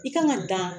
I kan ka dan